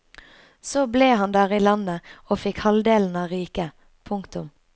Så ble han der i landet og fikk halvdelen av riket. punktum